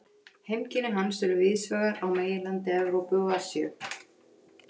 Heimkynni hans eru víðsvegar á meginlandi Evrópu og Asíu.